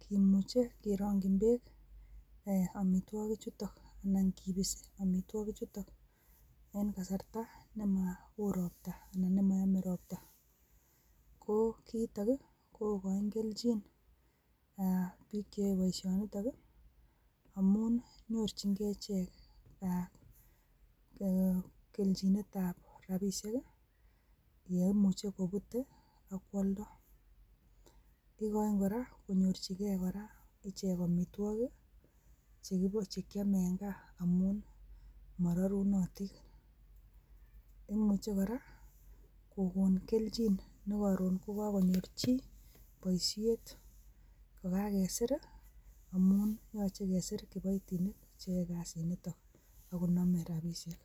kimuche kerongin beek omitwoki chutok anan kipisi omitwoki chutok en kasarta nemo woi ropta anan nemoyome ropta, ko kiito kii kokochi keljin bik cheyoe boishinito nii amun nyorchin gee ichek ee keljiniet tab rabishek ki yeimuche kubut tii ak kwoldoo, ikoin koraa konyorchigee koraa ichek omitwokik chekiome en gaa amun mororunotin, imuche koraa kokon keljin ne korun kokokonyor chii boishet kokakesir amun yoche kesir kiboitinik cheyoe kasit niton ak konome rabishek.